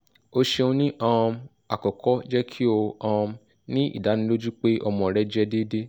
o ṣeun ni um akọkọ jẹ ki o um ni idaniloju pe ọmọ rẹ jẹ deede